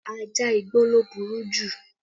Ajá igbó ló burú jù